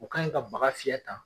O ka in ka baga fiyɛ tan